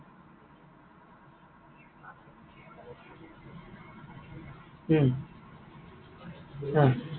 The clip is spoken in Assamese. উম অ।